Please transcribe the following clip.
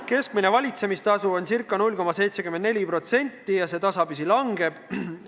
Keskmine valitsemistasu on ca 0,74% ja see tasapisi kahaneb.